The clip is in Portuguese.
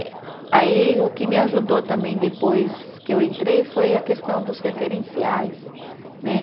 Aí o que me ajudou também depois que eu entrei foi a questão dos referenciais, né?